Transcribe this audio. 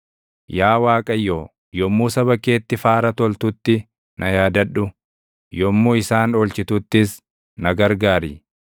Yaa Waaqayyo, yommuu saba keetti faara toltutti na yaadadhu; yommuu isaan oolchituttis na gargaari;